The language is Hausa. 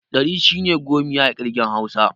Ɗari shine 'gomiya' a ƙirgen hausa.